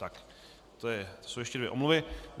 Tak to jsou ještě dvě omluvy.